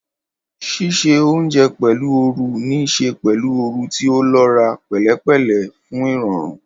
Ṣíṣe oúnjẹ pẹ̀lú ooru ní í ṣe pẹ̀lú ooru tí ó lọ́ra, pẹ̀lẹ́pẹ̀lẹ́ fún ìrọ̀rùn.